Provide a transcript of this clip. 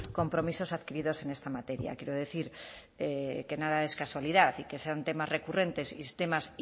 compromisos adquiridos en esta materia quiero decir que nada es casualidad y que sean temas recurrentes y temas